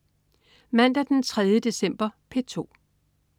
Mandag den 3. december - P2: